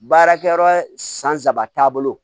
Baarakɛyɔrɔ san saba taabolo